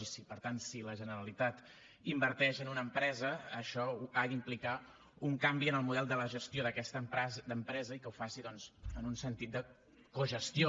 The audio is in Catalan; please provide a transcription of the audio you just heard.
i per tant si la generalitat inverteix en una empresa això ha d’implicar un canvi en el model de la gestió d’aquesta empresa i que ho faci doncs en un sentit de cogestió